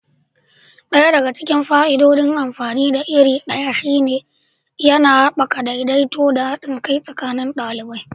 Ɗaya daga cikin fa'idodin amfani da iri ɗaya shine yana haɓaka daidaito da haɗin kai tsakanin ɗalibai.